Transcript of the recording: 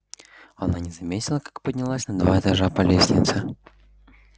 она не заметила как поднялась на два этажа по лестнице